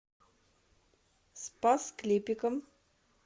спас клепикам